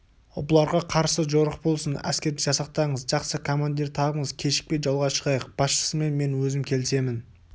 бұларға қарсы жорық болсын әскер жасақтаңыз жақсы командир табыңыз кешікпей жолға шығайық басшысымен мен өзім келісемін